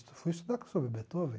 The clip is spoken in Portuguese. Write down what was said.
fui estudar sobre Beethoven.